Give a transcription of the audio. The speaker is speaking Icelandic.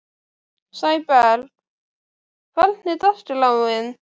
Sæberg, hvernig er dagskráin?